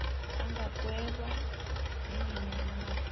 angagweba nanyana ngimaphi